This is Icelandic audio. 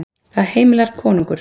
Það heimilar konungur.